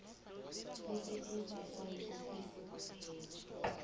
kusetjenziswa yiofisi kwaphela